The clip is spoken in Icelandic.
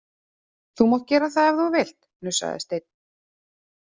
Þú mátt gera það ef þú vilt, hnussaði Steinn.